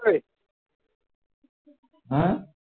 ~ হ্যাঁ